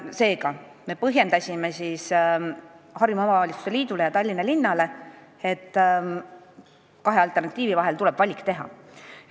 Seega me selgitasime Harjumaa Omavalitsuste Liidule ja Tallinna linnale, et kahe alternatiivi vahel tuleb valik teha.